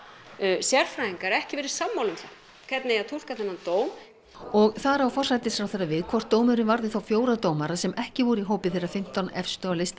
sérfræðingar ekki verið sammála um hvernig eigi að túlka þennan dóm og þar á forsætisráðherra við hvort dómurinn varði þá fjóra dómara sem ekki voru í hópi þeirra fimmtán efstu á lista